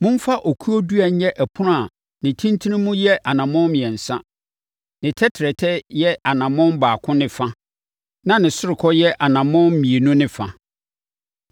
“Momfa okuo dua nyɛ ɛpono a ne ntentenemu yɛ anammɔn mmiɛnsa, ne tɛtrɛtɛ yɛ anammɔn baako ne fa na ne ɔsorokɔ yɛ anammɔn mmienu ne fa.